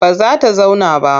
Ba za ta zauna ba.